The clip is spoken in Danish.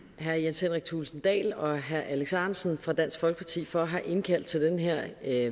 herre jens henrik thulesen dahl og herre alex ahrendtsen fra dansk folkeparti for at have indkaldt til den her